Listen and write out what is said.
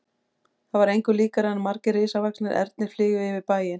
Það var engu líkara en margir risavaxnir ernir flygju yfir bæinn.